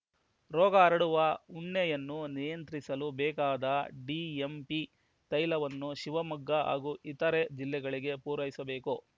ರೋಗ ಹರಡುವ ಉಣ್ಣೆಯನ್ನು ನಿಯಂತ್ರಿಸಲು ಬೇಕಾದ ಡಿಎಂಪಿ ತೈಲವನ್ನು ಶಿವಮೊಗ್ಗ ಹಾಗೂ ಇತರೆ ಜಿಲ್ಲೆಗಳಿಗೆ ಪೂರೈಸಬೇಕು